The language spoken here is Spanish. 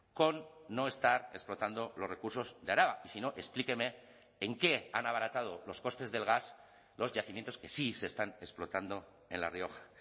con no estar explotando los recursos de araba y si no explíqueme en qué han abaratado los costes del gas los yacimientos que sí se están explotando en la rioja